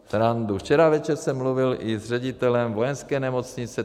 Včera večer jsem mluvil i s ředitelem Vojenské nemocnice.